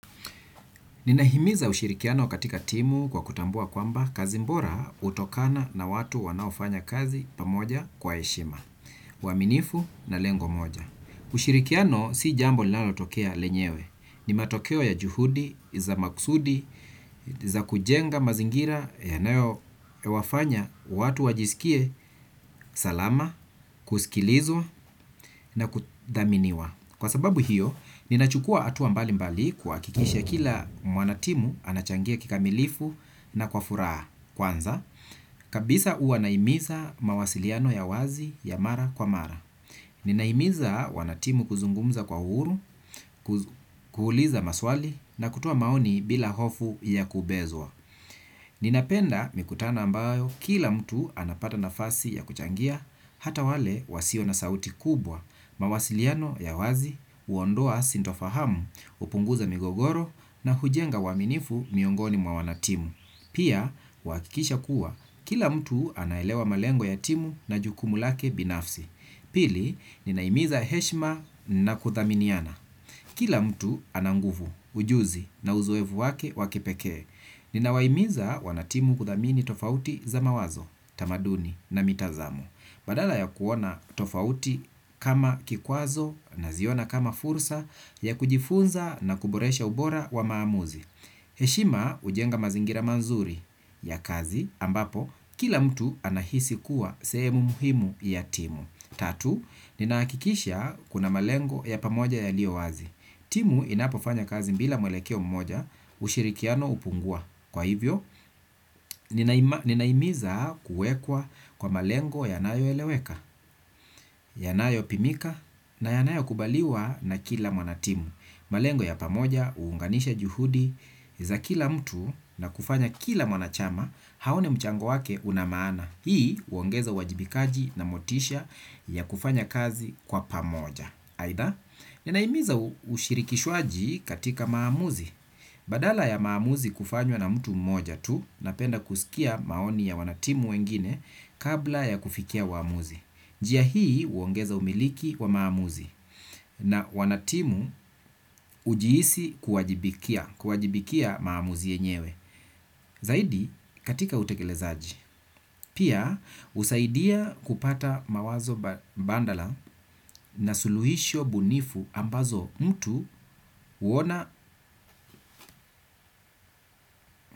Ninahimiza ushirikiano katika timu kwa kutambua kwamba kazi bora hutokana na watu wanaofanya kazi pamoja kwa heshima, uaminifu na lengo moja. Ushirikiano si jambo lilanotokea lenyewe. Ni matokeo ya juhudi, za makusudi, za kujenga mazingira, yanayo wafanya, watu wajisikie salama, kusikilizwa na kudhaminiwa. Kwa sababu hiyo, ninachukua hatuwa mbali mbali kwa kikisha kila mwanatimu anachangia kikamilifu na kwa furaha kwanza. Kabisa huwa nahimiza mawasiliano ya wazi ya mara kwa mara. Ninahimiza wanatimu kuzungumza kwa huru, kuuliza maswali na kutoa maoni bila hofu ya kubezwa. Ninapenda mikutano ambayo kila mtu anapata nafasi ya kuchangia. Hata wale wasio na sauti kubwa. Mawasiliano ya wazi, huondoa sintofahamu, hupunguza migogoro na hujenga uaminifu miongoni mwa wanatimu. Pia, huhakikisha kuwa, kila mtu anaelewa malengo ya timu na jukumu lake binafsi. Pili, ninahimiza heshima na kudhaminiana. Kila mtu ana nguvu, ujuzi na uzoefu wake wa kipekee. Ninawahimiza wanatimu kudhamini tofauti za mawazo, tamaduni na mitazamo. Badala ya kuona tofauti kama kikwazo naziona kama fursa ya kujifunza na kuboresha ubora wa maamuzi. Heshima hujenga mazingira mazuri ya kazi ambapo kila mtu anahisi kuwa sehemu muhimu ya timu. Tatu, ninahakikisha kuna malengo ya pamoja yalio wazi. Timu inapofanya kazi bila mwelekeo mmoja ushirikiano hupungua. Kwa hivyo, ninahimiza kuwekwa kwa malengo yanayoeleweka, yanayopimika na yanayokubaliwa na kila mwanatimu. Malengo ya pamoja huunganisha juhudi za kila mtu na kufanya kila mwanachama aone mchango wake una maana. Hii huongeza uwajibikaji na motisha ya kufanya kazi kwa pamoja. Aidha, ninahimiza ushirikishwaji katika maamuzi. Badala ya maamuzi kufanywa na mtu mmoja tu, napenda kusikia maoni ya wanatimu wengine kabla ya kufikia uamuzi. Njia hii huongeza umiliki wa maamuzi na wanatimu ujihisi kuwajibikia maamuzi yenyewe. Zaidi katika utekelezaji. Pia husaidia kupata mawazo mbadala na suluhisho bunifu ambazo mtu huona.